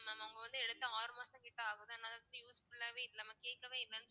mam அவங்க வந்து எடுத்து ஆறு மாசங்கிட்ட ஆகுது அதனால useful ஆவே இல்லை mam கேட்கவே இல்லைன்னு